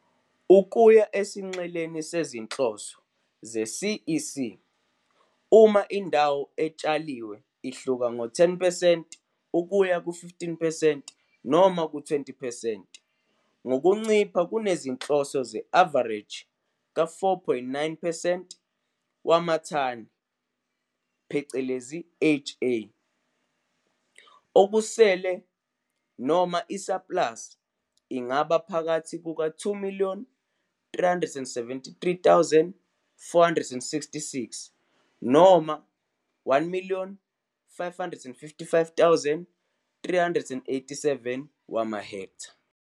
Ukuya esinxeleni sezinhloso ze-CEC, uma indawo etshaliwe ihluka ngo-10 percent,-15 percent noma u -20 percent ngokuncipha kunezinhloso ze-avareji ka4,98 wamathani ha, okusele noma isaplasi ingaba phakathi kuka2 373 466 no-1 555 387 wamahektha.